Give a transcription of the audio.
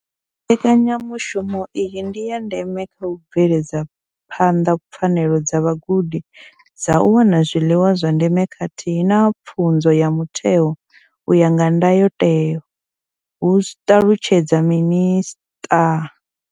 Mbekanyamushumo iyi ndi ya ndeme kha u bveledza phanḓa pfanelo dza vhagudi dza u wana zwiḽiwa zwa ndeme khathihi na pfunzo ya mutheo u ya nga ndayotewa, hu ṱalutshedza minisṱa.